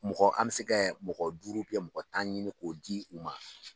Mɔgɔ an bɛ se kɛ mɔgɔ duuru kɛ mɔgɔ tan ɲini k'o di u ma.